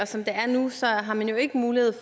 som det er nu har man jo ikke mulighed